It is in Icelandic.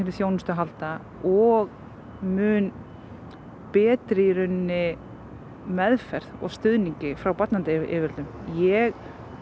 þjónustu að halda og mun betri meðferð og stuðningi frá barnaverndaryfirvöldum ég